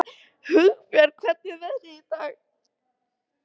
Hugbjörg, hvernig er veðrið í dag?